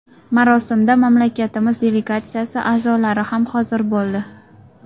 Marosimda mamlakatimiz delegatsiyasi a’zolari ham hozir bo‘ldi.